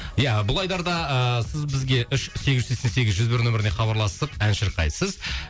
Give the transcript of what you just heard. иә бұл айдарда ыыы сіз бізге үш сегіз жүз сексен сегіз жүз бір нөміріне хабарласып ән шырқайсыз